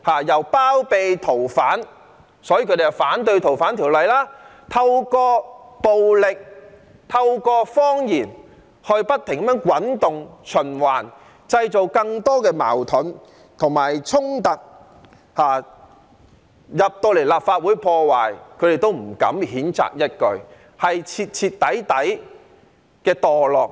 他們包庇逃犯，所以反對《逃犯條例》，透過暴力和謊言不停滾動、循環，製造更多矛盾及衝突，甚至有人闖進立法會大樓破壞，他們也不敢譴責一句，是徹徹底底的墮落。